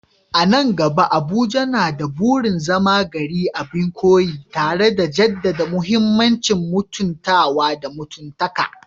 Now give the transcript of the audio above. A nan gaba, Abuja na da burin zama gari abin koyi, tare da jaddada muhimmancin mutuntawa da mutuntaka